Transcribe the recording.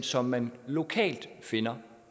som man lokalt finder